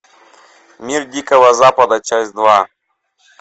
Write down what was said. мир дикого запада часть два